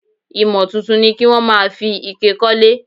Ìmò tuntun ni kí wón máa fi ike kólé.